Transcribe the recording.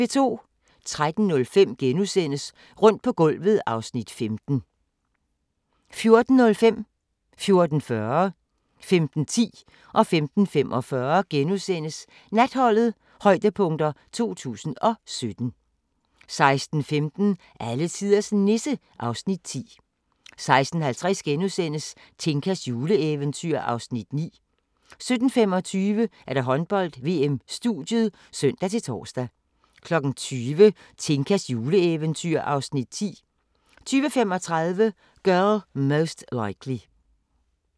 13:05: Rundt på gulvet (Afs. 15)* 14:05: Natholdet - højdepunkter 2017 * 14:40: Natholdet - højdepunkter 2017 * 15:10: Natholdet - højdepunkter 2017 * 15:45: Natholdet - højdepunkter 2017 * 16:15: Alletiders Nisse (Afs. 10) 16:50: Tinkas juleeventyr (Afs. 9)* 17:25: Håndbold: VM - studiet (søn-tor) 20:00: Tinkas juleeventyr (Afs. 10) 20:35: Girl Most Likely